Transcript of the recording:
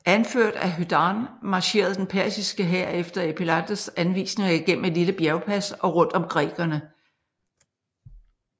Anført af Hydarne marcherede den persiske hær efter Ephialtes anvisninger igennem et lille bjergpas og rundt om grækerne